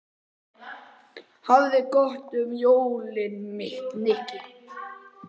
Hafðu það gott um jólin, Nikki